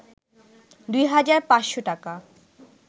২ হাজার ৫শ’ টাকা